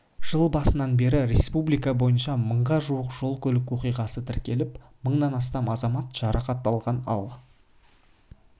жыл басынан бері республика бойынша мыңға жуық жол-көлік оқиғасы тіркеліп мыңнан астам азамат жарақат алған ал